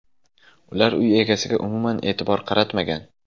Ular uy egasiga umuman e’tibor qaratmagan.